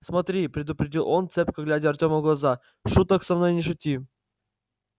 смотри предупредил он цепко глядя артему в глаза шуток со мной не шути